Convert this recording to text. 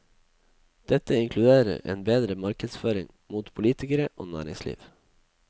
Dette inkluderer en bedre markedsføring mot politikere og næringsliv.